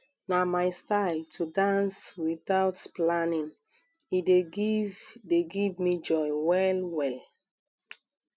na my style to dance without planning e dey give dey give me joy wellwell